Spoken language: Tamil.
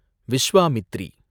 விஸ்வாமித்திரி